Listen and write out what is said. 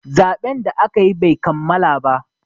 zaɓen da aka yi Bai kammala ba